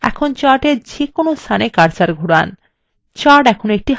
এখন chart এর যে কোন স্থানে cursor ঘুরান